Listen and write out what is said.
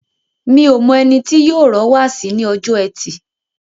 Mi o mọ ẹni tó yóò rọ́ wáàsí ní ọjọ́ ẹtì.